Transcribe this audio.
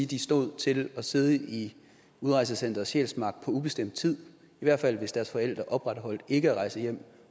de stod til at sidde i udrejsecenter sjælsmark på ubestemt tid i hvert fald hvis deres forældre opretholdt ikke at rejse hjem